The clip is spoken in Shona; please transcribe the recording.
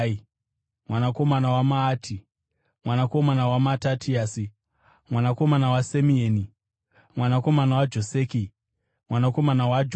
mwanakomana waMaati, mwanakomana waMatatiasi, mwanakomana waSemeini, mwanakomana waJoseki, mwanakomana waJodha,